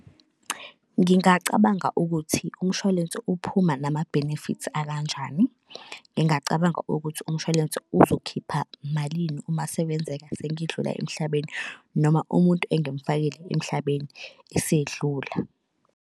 Ngingacabanga ukuthi umshwalense uphuma nama-benefits akanjani. Ngingacabanga ukuthi umshwalense uzokhipha malini uma sekwenzeka sengidlula emhlabeni, noma umuntu engimufakile emhlabeni esedlula.